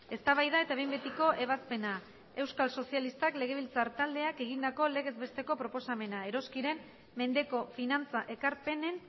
eztabaida eta behin betiko ebazpena euskal sozialistak legebiltzar taldeak egindako legez besteko proposamena eroskiren mendeko finantza ekarpenen